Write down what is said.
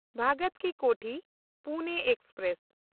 ᱵᱷᱚᱜᱚᱛᱴ ᱠᱤ ᱠᱳᱛᱷᱤ–ᱯᱩᱱᱮ ᱮᱠᱥᱯᱨᱮᱥ